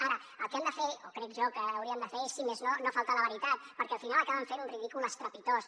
ara el que hem de fer o crec jo que hauríem de fer és si més no no faltar a la veritat perquè al final acaben fent un ridícul estrepitós